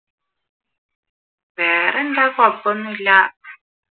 വേറെന്താ കുഴപ്പമൊന്നുമില്ല